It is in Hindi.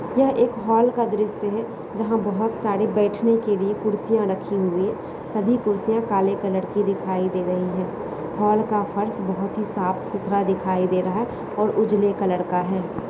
यह एक हॉल का द्रव्य है जहाँ बहुत सारे बेठने के लिए कुर्सियां रखी हुई है सभी कुर्सियां काले कलर की दिखाई दे रही है हॉल का फर्श बहुत ही साफ़ सुथरा दिखाई दे रहा है और उजले कलर का है।